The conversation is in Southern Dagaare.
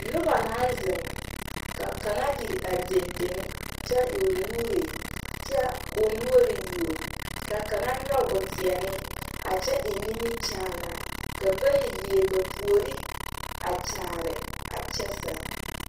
Noba naŋ zeŋ ka kaŋa iri are deŋdeŋ kyɛ e o nuure kyɛ ko o noɔre yuo ka kaŋa nyɔge o teɛne a kyɛ eŋ nimikyaanaa ka bayi leɛ ba puori a kyaare a kyɛ sɛŋ.